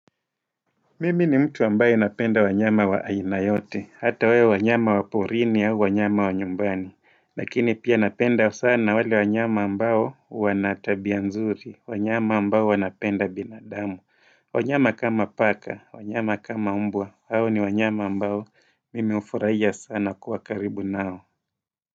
Mimi ni mtu ambaye napenda wanyama wa aina yote, hata wawe wanyama wa porini au wanyama wanyumbani, lakini pia napenda sana wale wanyama ambao wana tabia nzuri, wanyama ambao wanapenda binadamu, wanyama kama paka, wanyama kama umbwa, hao ni wanyama ambao mimewafurahia sana kuwa karibu nao.